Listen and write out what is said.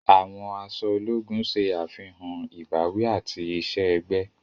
Àwọn aṣọ ológùn ṣe àfihàn ìbáwí ati iṣẹ-ẹgbẹ.